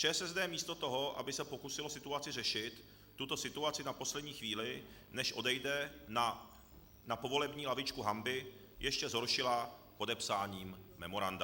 ČSSD místo toho, aby se pokusila situaci řešit, tuto situaci na poslední chvíli, než odejde na povolební lavičku hanby, ještě zhoršila podepsáním memoranda.